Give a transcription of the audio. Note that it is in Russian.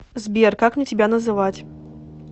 сбер как мне тебя называть